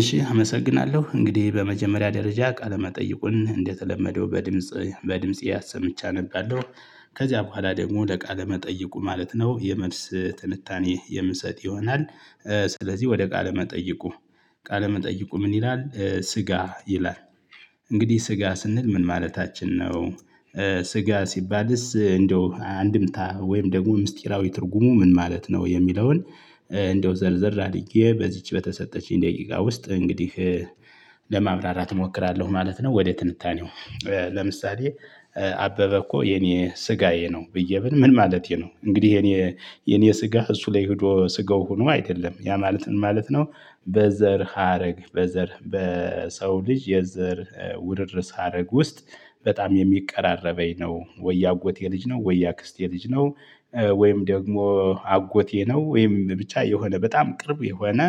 እሺ አመሰግናለሁ እንግዲህ በመጀመሪያ ደረጃ ቃለመጠይቁን እንደተለመደው በድምጽ በድጺ እሰምቼ አነባለሁ ከዚያ በኋላ ደግሞ ለቃለ መጠይቁ ማለት ነው የመልስ ትንታኔ የምሰጥ ይሆናል። ስለዚህ ወደ ቃለ መጠይቁ። ቃለ መጠይቁ ምን ይላል ስጋ ይላል? እንግዲህ ስጋ ስንል ምን ማለታችን ነው? ስጋ ሲባልስ እንደው አንድምታ ወይም ደግሞ ምስጢራዊ ትርጉሙ ምን ማለት ነው የሚለውን? እንደው ዘርዝር አድርጌ በዚች በተሰጠችኝ ደቂቃ ውስጥ እንግዲህ ለማብራራት እሞክራለሁ ማለት ነው። ወደ ትንታኔው። ለምሳሌ አበበ እኮ የኔ ስጋዬ ነው ብዬ ምል ምን ማለቴ ነው? እንግዲህ የኔ የኔ ስጋ እሱ ላይ ሄዶ ስጋው ሆኖ አይደለም ያ ማለት ምን ማለት ነው? በዘር ሀረግ በዘር በሰው ልጅ የዘር ውርርስ ሀረግ ውስጥ በጣም የሚቀራረበኝ ነው ወይ ያአጎቴ ልጅ ነው ወይ ያአክስቴ ልጅ ነው? ወይም ደግሞ አጎቴ ነው ወይም ብቻ የሆነ በጣም ቅርብ የሆነ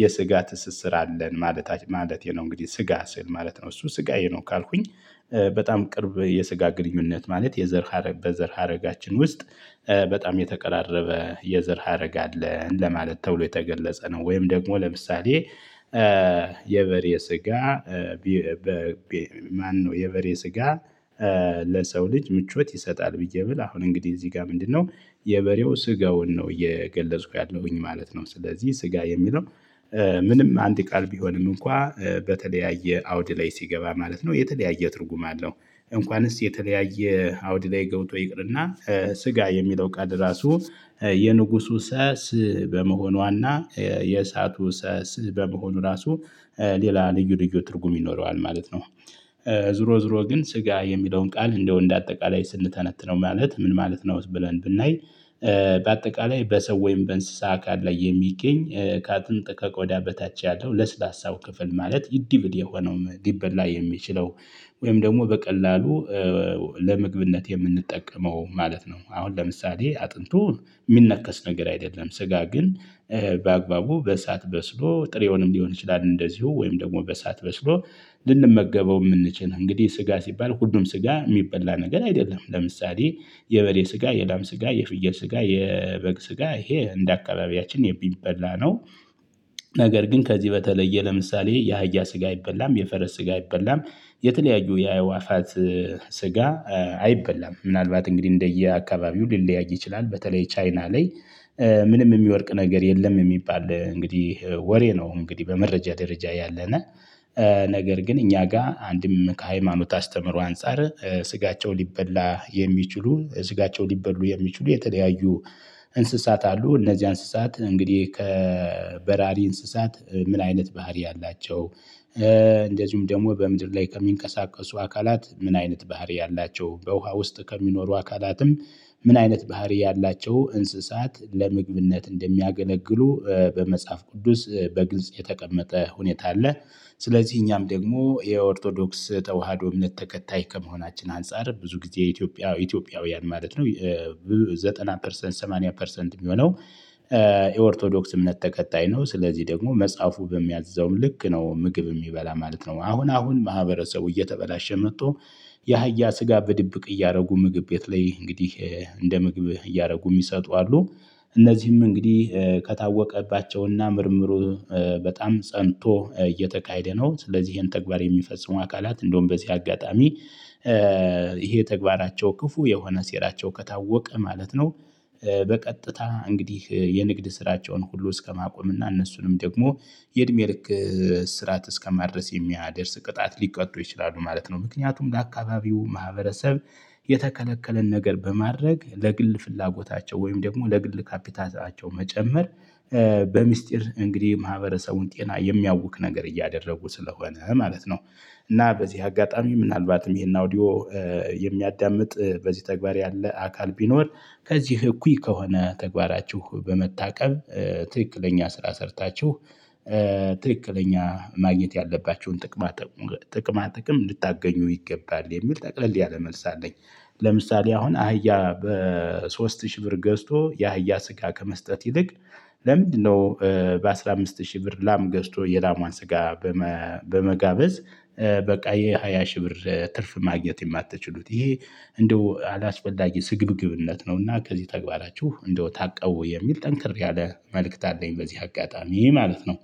የስጋ ትስስር አለን ማለት ማለቴ ነው። እንግዲህ ስጋ ስል ማለት ነው እሱ ስጋየ ነው ካልኩኝ። በጣም ቅርብ የስጋ ግንኙነት ማለት የዘር ሀረግ በዘር ሀረጋችን ውስጥ በጣም የተቀራረበ የዘር ሀረግ አለን ለማለት ተብሎ የተገለጸ ነው። ወይም ደግሞ ለምሳሌ። የበሬ ስጋ ማነው የበሬ ስጋ? ለሰው ልጅ ምቾት ይሰጣል ብዬ ብል አሁን እንግዲህ እዚህ ጋር ምንድነው? የበሬው ስጋውን ነው እየገለጽኩ ያለሁኝ ማለት ነው። ስለዚህ ስጋ የሚለው ምንም አንድ ቃል ቢሆንም እንኳን በተለያየ አውድ ላይ ሲገባ ማለት ነው የተለያየ ትርጉም አለው። እንኳንስ የተለያየ አውድ ላይ ገብቶ ይቅርና ስጋ የሚለው ቃል ራሱ የንጉሱ ሰስ በመሆኗና የእሳቱ ስዝ በመሆኑ ራሱ ሌላ ልዩ ልዩ ትርጉም ይኖረዋል ማለት ነው። ዞሮ ዞሮ ግን ስጋ የሚለውን ቃል እንደው እንደ አጠቃላይ ስንተነትነው ማለት ምን ማለት ነው ብለን ብናይ። በአጠቃላይ በሰው ወይም በእንስሳ አካል ላይ የሚገኝ ከአጥንጥ ከቆዳ በታች ያለው ለስላሳው ክፍል ማለት ኢድብል የሆነው ሊበላ የሚችለው። ወይም ደግሞ በቀላሉ ለምግብነት የምንጠቀመው ማለት ነው። አሁን ለምሳሌ አጥንቱ የሚነከስ ነገር አይደለም ስጋ ግን። በአግባቡ በእሳት በስሎ ጥሬውንም ሊሆን ይችላል። እንደዚሁ ወይም ደግሞ በእሳት በስሎ ልንመገበው የምንችል እንግዲህ ስጋ ሲባል ሁሉም ስጋ የሚበላ ነገር አይደለም። ለምሳሌ የበሬ ስጋ የላም ስጋ የፍየል ስጋ የበግ ስጋ ይሄ እንደ አካባቢያችን የሚበላ ነው። ነገር ግን ከዚህ በተለየ ለምሳሌ የአህያ ስጋ አይበላም የፈረስ ስጋ አይበላም። የተለያዩ የአእዋፋት ስጋ አይበላም ምናልባት እንግዲህ እንደየአካባቢው ሊለያይ ይችላል። በተለይ ቻይና ላይ ምንም የሚወድቅ ነገር የለም የሚባል እንግዲህ ወሬ ነው እንግዲህ በመረጃ ደረጃ ያለነ። ነገር ግን እኛ ጋር አንድም ከሃይማኖት አስተምሮ አንፃር ስጋቸው ሊበላ የሚችሉ ስጋቸው ሊበሉ የሚችሉ የተለያዩ እንስሳት አሉ። እነዚያ እንስሳት እንግዲህ ከበራሪ እንስሳት ምን አይነት ባህሪ አላቸው? ደግሞ በምድር ላይ ከሚንቀሳቀሱ አካላት ምን አይነት ባህሪ አላቸው በውሃ ውስጥ ከሚኖሩ አካላትም ምን አይነት ባህሪ ያላቸው እንስሳት ለምግብነት እንደሚያገለግሉ በመጽሐፍ ቅዱስ በግልጽ የተቀመጠ ሁኔታ አለ። ስለዚህ እኛም ደግሞ የኦርቶዶክስ ተዋህዶ እምነት ተከታይ ከመሆናችን አንፃር ብዙ ጊዜ ኢትዮጵያ ኢትዮጵያውያን ማለት ነው። ዘጠና ፐርሰንት ሰማንያ ፐርሰንት የሚሆነው የኦርቶዶክስ እምነት ተከታይ ነው። ስለዚህ ደግሞ መጽሐፉ በሚያዘው ልክ ነው ምግብ የሚበላ ማለት ነው። አሁን አሁን ማህበረሰቡ እየተበላሸ መጥቶ የአህያ ስጋ በድብቅ እያደረጉ ምግብ ቤት ላይ እንግዲህ እንደ ምግብ እያደረጉ የሚሰጡ አሉ። እነዚህም እንግዲህ ከታወቀባቸውና ምርምሩ በጣም ፀንቶ እየተካሄደ ነው። ስለዚህ ይሄን ተግባር የሚፈጽሙ አካላት እንደውም በዚህ አጋጣሚ ይሄ ተግባራቸው ክፉ የሆነ ሴራቸው ከታወቀ ማለት ነው። በቀጥታ እንግዲህ የንግድ ስራቸውን ሁሉ እስከማቆም እና እነሱንም ደግሞ የእድሜ ልክ እስራት እስከማድረስ የሚያደርስ ቅጣት ሊቀጡ ይችላሉ ማለት ነው። ምክንያቱም ለአካባቢው ማህበረሰብ የተከለከለን ነገር በማድረግ ለግል ፍላጎታቸው ወይም ደግሞ ለግል ካፒታታቸው መጨመር በሚስጥር እንግዲህ ማህበረሰቡን ጤና የሚያውክ ነገር እያደረጉ ስለሆነ ማለት ነው። እና በዚህ አጋጣሚ ምናልባትም ይሄን አውዲዮ የሚያዳምጥ በዚህ ተግባር ያለ አካል ቢኖር። ከዚህ እኩይ ከሆነ ተግባራችሁ በመታቀብ ትክክለኛ ስራ ሰርታችሁ። ትክክለኛ ማግኘት ያለባችሁን ጥቅማ ጥቅም እንድታገኙ ይገባል የሚል ጠቅለል ያለ መልስ አለኝ። ለምሳሌ አሁን አህያ በሶስት ሺህ ብር ገዝቶ የአህያ ስጋ ከመስጠት ይልቅ ለምንድነው? በአስራ አምስት ሺህ ብር ላም ገዝቶ የላሟን ስጋ። በመጋበዝ በቃ ይሄ ሃያ ሺ ብር ትርፍ ማግኘት የማትችሉት ይሄ እንደው አላስፈላጊ ስግብግብነት ነው። እና ከዚህ ተግባራችሁ እንደው ታቀቡ የሚል ጠንክር ያለ መልእክት አለኝ። በዚህ አጋጣሚ ማለት ነው።